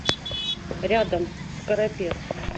рядом скоропес